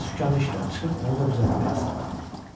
Bircə sükanı işləyə çıxıb onu da düzəltmək asaddır.